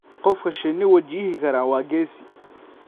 Qofka shinni wajihi kara waa geesi.